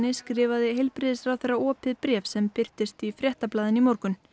skrifaði heilbrigðisráðherra opið bréf sem birtist í Fréttablaðinu í morgun